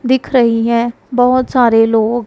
दिख रही है बहुत सारे लोग।